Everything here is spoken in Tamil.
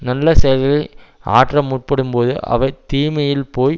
நல்ல செயல்களை ஆற்ற முற்படும்போது அவை தீமையில் போய்